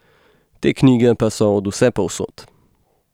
Te knjige pa so od vsepovsod.